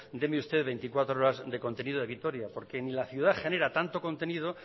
deme usted veinticuatro horas de contenido de vitoria porque ni la ciudad genera tanto contenido